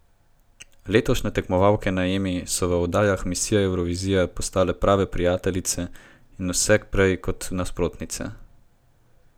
Letošnje tekmovalke na Emi so v oddajah Misija Evrovizija postale prave prijateljice in vse prej kot nasprotnice.